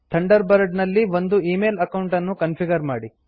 Thunderbird ನಲ್ಲಿ ಒಂದು email account ಅನ್ನು ಕಾನ್ಫಿಗರ್ ಮಾಡಿ